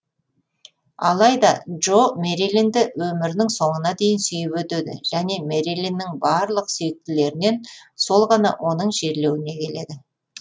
алайда джо мэрилинді өмірінің соңына дейін сүйіп өтеді және мэрилиннің барлық сүйіктілерінен сол ғана оның жерлеуіне келеді